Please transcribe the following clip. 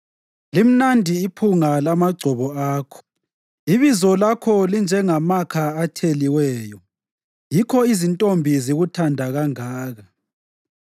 Limnandi iphunga lamagcobo akho; ibizo lakho linjengamakha atheliweyo. Yikho izintombi zikuthanda kangaka!